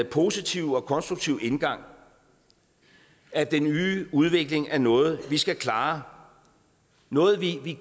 positive og konstruktive indgang at den nye udvikling er noget vi skal klare noget vi